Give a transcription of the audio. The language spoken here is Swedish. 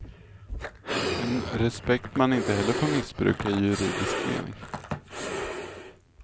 En respekt man inte heller får missbruka i juridisk mening.